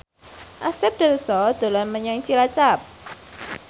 Asep Darso dolan menyang Cilacap